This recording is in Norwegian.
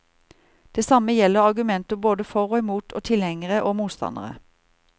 Det samme gjelder argumenter både for og imot og tilhengere og motstandere.